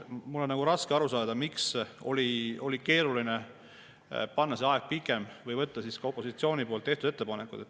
Mul on raske aru saada, miks oli keeruline panna pikem aeg või võtta opositsiooni tehtud ettepanekuid.